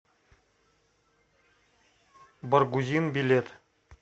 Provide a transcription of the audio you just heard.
баргузин билет